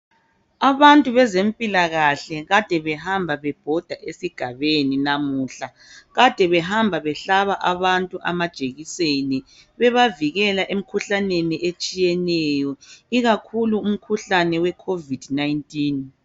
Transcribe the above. Abantu bezempilakahle bebebhoda esigabeni namuhla behamba behlaba abantu amajekiseni bebavikela emikhuhlaneni etshiyeneyo ikakhulu owekhovidi.